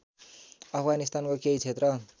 अफगानिस्तानको केही क्षेत्र